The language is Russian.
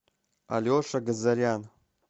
алеша газарян